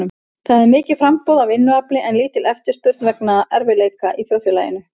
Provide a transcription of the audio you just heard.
Það er mikið framboð á vinnuafli en lítil eftirspurn vegna erfiðleika í þjóðfélaginu.